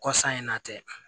Kɔsa in na tɛ